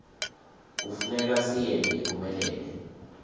kufuneka siyente iphumelele